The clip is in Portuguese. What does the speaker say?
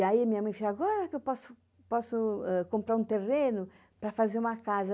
E aí minha mãe falou, agora que eu posso comprar um terreno para fazer uma casa.